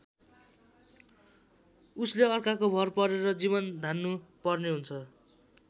उसले अर्काको भर परेर जीवन धान्नु पर्ने हुन्छ।